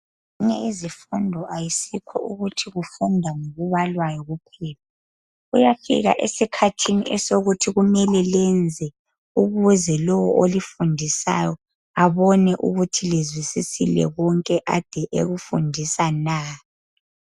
Izifundo, akusikho ukuthi kufundwa ngokubalwayo uphela. Kuyafika esikhathini sokuthi kumele lenze, ukuze lowo olifundisayo, abone ukuthi lizwisisile konke ade ekufundisa na?